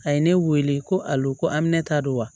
A ye ne wele ko a y'o ko aminɛ ta wa